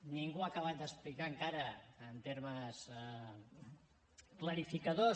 ningú ha acabat d’explicar encara en termes clarificadors